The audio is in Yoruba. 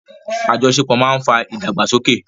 Àjọṣepọ̀ máa ń fa ìdàgbàsókè.